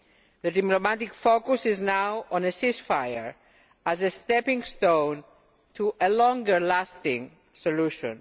The diplomatic focus is now on a ceasefire as a stepping stone to a longer lasting solution.